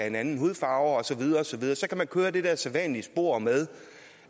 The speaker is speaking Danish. en anden hudfarve og så videre og så videre så kan man køre i det der sædvanlige spor med